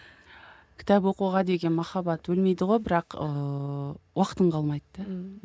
кітап оқуға деген махаббат өлмейді ғой бірақ ыыы уақытың қалмайды да ммм